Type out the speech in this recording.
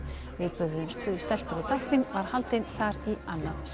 viðburðurinn stelpur og tækni var haldinn þar í annað sinn